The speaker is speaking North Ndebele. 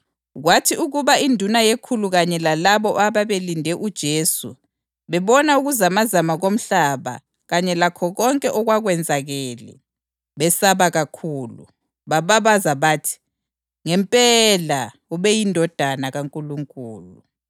Kwathi ukuba induna yekhulu kanye lalabo ababelinde uJesu bebona ukuzamazama komhlaba kanye lakho konke okwakwenzakele, besaba kakhulu, bababaza bathi, “Ngempela ubeyiNdodana kaNkulunkulu!”